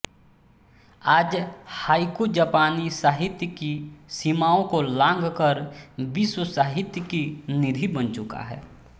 आज हाइकु जापानी साहित्य की सीमाओं को लाँघकर विश्व साहित्य की निधि बन चुका है